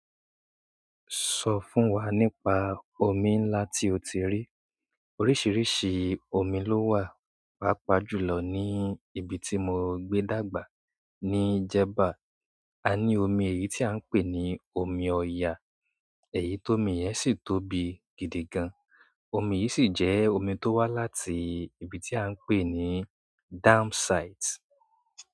Sọ fún wa nípa omi ńlá tí o ti rí. Oríṣiríṣi omi ló wà, pàápàá jù lọ ní ibi tí mo gbé dàgbà, ní jẹba. A ní omi èyí tí à ń pè ní omi Ọya, èyí tó mi yẹn sì tóbi gidigan. Omi yìí sì jẹ́ omi tó wá láti ibi tí à ń pè ní dam site.